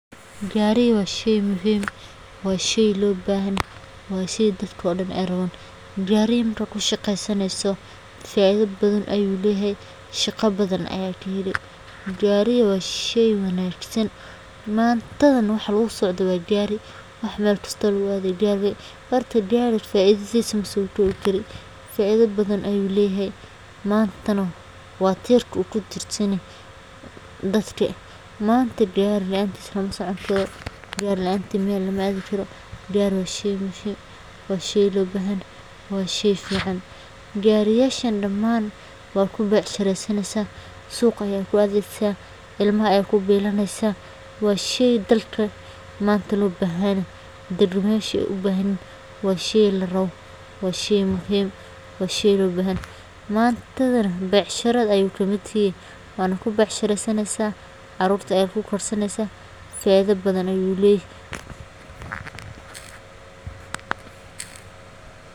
Gari waa sheey muhim ah, waa sheey dadko dhan raban oo loo bahanyahay. Shaqa badan ayaa ku qabsani oo sheey wanagsan mantadan waxaa lagu socdo waa gari, waxa mel kasto lagu adaya waa gari, masokobi karii ,faido badan ayu leyahay waa tirka dadka uu kutirsanyahay ,manta gari laantis lamasoconi karo, gari laantis mel lama adhi karo, waa sheey fican, gariyashan daman waa kubec sharesanesa ,suqa ayaa kuadesa, cilmaha ayaa kubilanesa waa sheey wanagsan oo aad u fican ,carurta ayaa ku korsanesa.